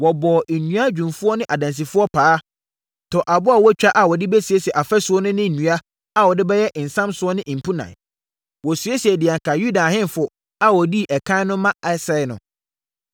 Wɔbɔɔ nnua dwumfoɔ ne adansifoɔ paa, tɔɔ aboɔ a wɔatwa a wɔde bɛsiesie afasuo no ne nnua a wɔde bɛyɛ nsamsoɔ ne mpunan. Wɔsiesiee deɛ anka Yuda ahemfo a wɔdii ɛkan no rema asɛe no.